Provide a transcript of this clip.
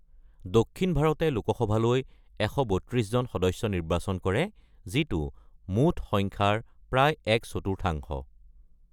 দক্ষিণ ভাৰতে লোকসভালৈ ১৩২ জন সদস্য নিৰ্বাচন কৰে, যিটো মুঠ সংখ্যাৰ প্ৰায় এক চতুৰ্থাংশ।